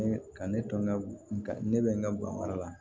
Ne ka ne to n ka ne bɛ n ka gan wɛrɛ la